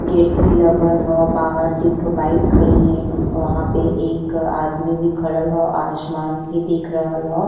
Gate भी लगल ह। बाहर तीन ठो बाइक खड़ी हईन। वहाँ पे एक आदमी भी खड़ल ह। आसमान दिख रहल ह।